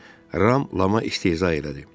deyə Ram Lama istehza elədi.